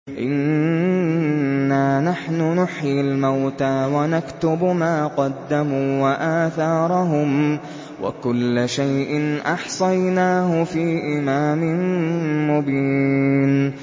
إِنَّا نَحْنُ نُحْيِي الْمَوْتَىٰ وَنَكْتُبُ مَا قَدَّمُوا وَآثَارَهُمْ ۚ وَكُلَّ شَيْءٍ أَحْصَيْنَاهُ فِي إِمَامٍ مُّبِينٍ